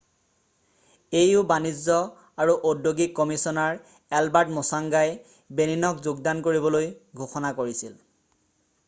au বাণিজ্য আৰু ঔদ্যোগিক কমিছনাৰ এলবাৰ্ট মোচংগাই বেনিনক যোগদান কৰিবলৈ ঘোষণা কৰিছিল